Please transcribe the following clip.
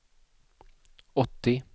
åttio